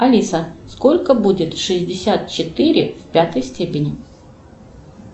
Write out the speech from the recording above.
алиса сколько будет шестьдесят четыре в пятой степени